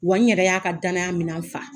Wa n yɛrɛ y'a ka danaya minɛ fa.